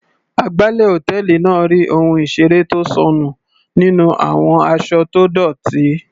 Agbálẹ̀ hòtẹ́ẹ̀lì náà rí ohun ìseré tó sọnù nínú àwọn aṣọ tó dọ́tì.